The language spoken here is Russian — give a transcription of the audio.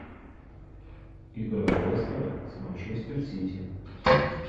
игра лестера с манчестер сити